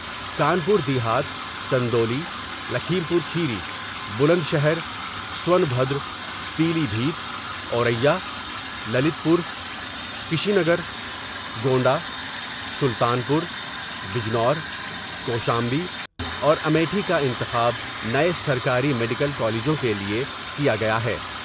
Kanpur Dehat, Chandauli Lakhimpur Kheri, Bulandshahr, Sonbhadra, Pilibhit, Auraiya, Lalitpur Kushinagar, Gonda, Sultanpur, Bijnor, Kaushambi اور امیٹھی کا انتخاب نئے سرکاری میڈیکل کالجوں کے لئے کیا گیا ہے ۔